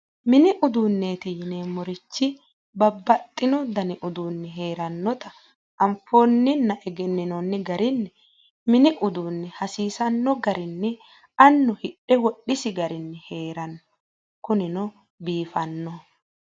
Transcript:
mini uduunneeti yineemmorichi babbaxitino dani uduunnichi heerannota afoonninna egenninoonni garinni mini uduunni hasiisanno garinni annu hidhe wodhisi garinni heeranno kunino biifanno .